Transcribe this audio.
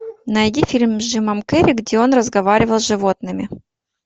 найди фильм с джимом керри где он разговаривал с животными